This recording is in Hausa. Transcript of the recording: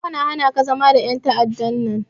Daga yau na hanaka zama da en ta'adda nan!